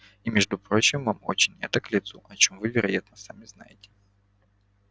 и между прочим вам очень это к лицу о чём вы вероятно сами знаете